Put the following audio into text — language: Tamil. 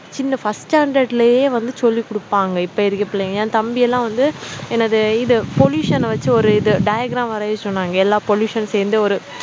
சின்ன first standard லயே வந்து சொல்லிக் குடுப்பாங்க இப்ப இருக்கிற பிள்ளைங்க என் தம்பி எல்லாம் வந்து என்னது இது pollution அ வெச்சி ஒரு இது diagram வரைய சொன்னாங்க எல்லா pollution சேர்ந்து ஒரு